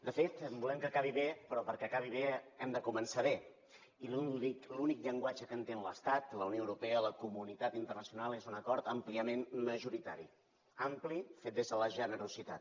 de fet volem que acabi bé però perquè acabi bé hem de començar bé i l’únic llenguatge que entén l’estat la unió europea la comunitat internacional és un acord àmpliament majoritari ampli fet des de la generositat